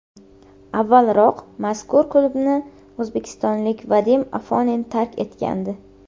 Avvalroq mazkur klubni o‘zbekistonlik Vadim Afonin tark etgandi.